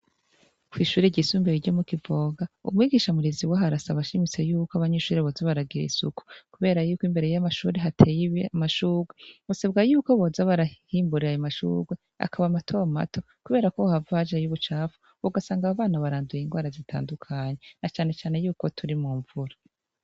Kwishure ryisumbuye ryomu kivoga umwigisha murezi waho arasaba ashimitse yuko abanyeshure boza baragira isuku kubera yuko imbere yamashure hateye amashurwe hasabwa yuko boza barahimbura ayomashurwe akaba mato mato kubera yukohohava hajayo ubucafu ugasanga abobana baranduye indwara zitandukanye na cane cane yuko turi mumvura